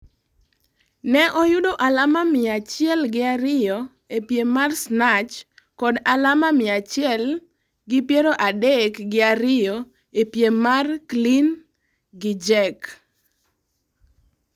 Ne oyudo alama mia achiel gi ariyo e piem mar Snatch kod alama mia achiel gi iero adek gi ariyo e piem mar Clean gi Jerk